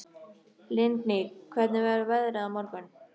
Lingný, hvernig verður veðrið á morgun?